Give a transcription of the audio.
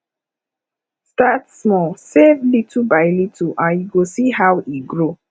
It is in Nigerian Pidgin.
start small save little by little and you go see how e grow